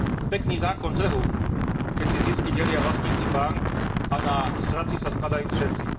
Pekný zákon trhu, keď si zisky delia vlastníci bánk a na straty sa skladajú všetci.